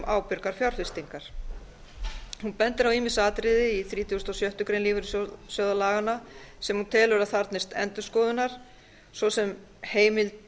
ábyrgar fjárfestingar hún bendir á ýmis atriði í þrítugasta og sjöttu grein lífeyrissjóðalaganna sem hún telur að þarfnist endurskoðunar svo sem heimildir